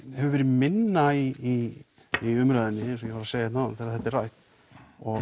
hefur verið minna í í umræðunni eins og ég var að segja hérna áðan þegar þetta er rætt og